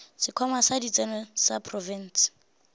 sekhwama sa ditseno sa profense